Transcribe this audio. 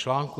Článek